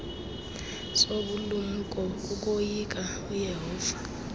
sobulumko kukoyika uyehova